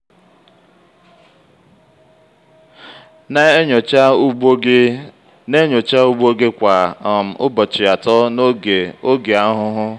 na-enyocha ugbo gị na-enyocha ugbo gị kwa um ụbọchị atọ n'oge oge ahụhụ.